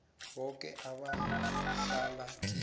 boke abahlala kiyo